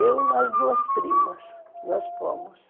Eu e umas duas primas, nós fomos.